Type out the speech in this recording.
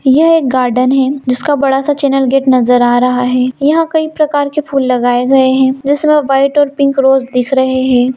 यह एक गार्डन है जिसका बहुत बड़ा चैनल गेट नजर आ रहा है यहाँ कईं प्रकार के फूल लगाए गए हैं इसमें वाइट और पिंक रोज दिख रहे हैं।